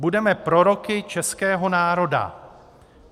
Budeme proroky českého národa.